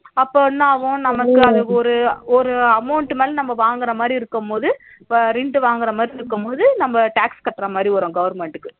அப்ப என்ன ஆகும் நம்ம ஒரு ஒரு amount மேல நம்ம வாங்குற மாதிரி இருக்கும்போது rent வாங்குற மாதிரி இருக்கும்போது நம்ம tax கட்டற மாதிரி வரும் government க்கு